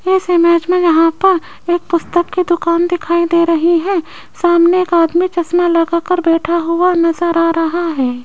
इस इमेज में यहां पर एक पुस्तक की दुकान दिखाई दे रही है सामने एक आदमी चश्मा लगा कर बैठा हुआ नजर आ रहा है।